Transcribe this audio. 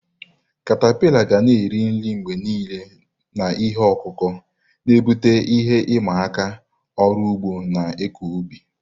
katapila ga na-eri nri mgbe niile na ihe ọkụkụ, na-ebute ihe ịma aka maka ọrụ ugbo na ịkọ ubi.